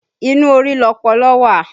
Inú orí lọpọlọ wà